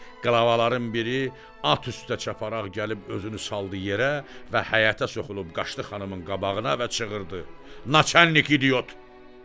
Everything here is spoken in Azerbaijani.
Qlavaların biri at üstə çaparaq gəlib özünü saldı yerə və həyətə soxulub qaçdı xanımın qabağına və çığırdı: Naçalnik idiot.